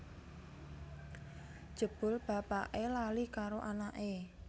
Jebul bapake lali karo anake